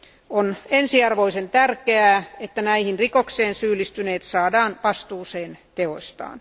On ensiarvoisen tärkeää, että näihin rikoksiin syyllistyneet saadaan vastuuseen teoistaan.